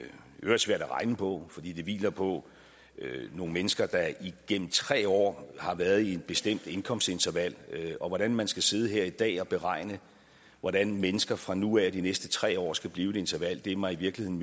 øvrigt svært at regne på fordi det hviler på nogle mennesker der igennem tre år har været i et bestemt indkomstinterval hvordan man skal sidde her i dag og beregne hvordan mennesker fra nu af og de næste tre år skal blive i et interval er mig i virkeligheden